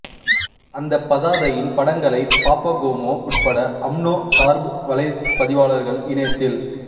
அந்தப் பதாதையின் படங்களை பாப்பாகோமோ உட்பட அம்னோ சார்பு வலைப்பதிவாளர்கள் இணையத்தில்